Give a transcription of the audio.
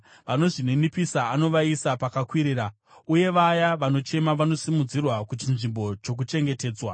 Vanozvininipisa anovaisa pakakwirira, uye vaya vanochema vanosimudzirwa kuchinzvimbo chokuchengetedzwa.